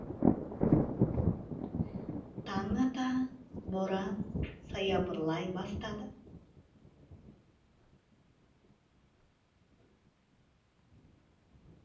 таң ата боран саябырлай бастады